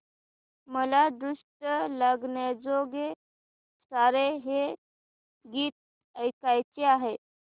मला दृष्ट लागण्याजोगे सारे हे गीत ऐकायचे आहे